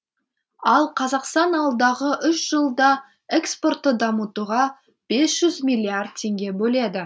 ал қазақстан алдағы үш жылда экспортты дамытуға бес жүз миллиард теңге бөледі